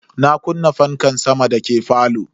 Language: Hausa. Na kunna fankan sama dake falo.